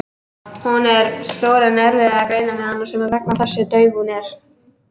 Hún er stór en erfitt er að greina hana vegna þess hve dauf hún er.